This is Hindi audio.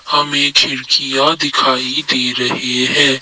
हमें खिड़कियां दिखाई दे रहे हैं।